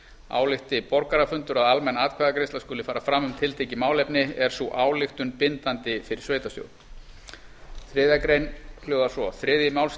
álykti borgarafundur að almenn atkvæðagreiðsla skuli fara fram um tiltekið málefni er sú ályktun bindandi fyrir sveitarstjórn þriðju grein hljóðar svo þriðji